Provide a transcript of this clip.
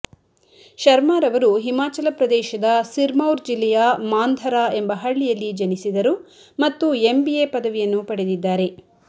ಶರ್ಮಾರವರು ಹಿಮಾಚಲ ಪ್ರದೇಶದ ಸಿರ್ಮೌರ್ ಜಿಲ್ಲೆಯ ಮಾಂಧರಾ ಎಂಬ ಹಳ್ಳಿಯಲ್ಲಿ ಜನಿಸಿದರು ಮತ್ತು ಎಂಬಿಎ ಪದವಿಯನ್ನು ಪಡೆದಿದ್ದಾರೆ